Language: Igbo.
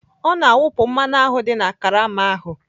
Ọ na-awụpụ mmanụ ahụ dị na karama ahụ.